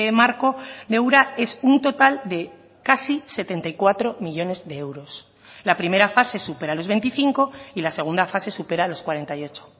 marco de ura es un total de casi setenta y cuatro millónes de euros la primera fase supera los veinticinco y la segunda fase supera los cuarenta y ocho